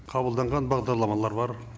қабылданған бағдарламалар бар